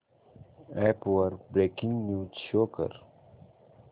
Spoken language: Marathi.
अॅप वर ब्रेकिंग न्यूज शो कर